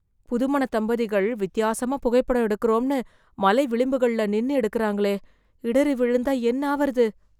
புதுமணத் தம்பதிகள், வித்யாசமா புகைப்படம் எடுக்கறோம்னு, மலை விளிம்புகளில் நின்னு எடுக்கறாங்களே... இடறி விழுந்தா என்னாவது...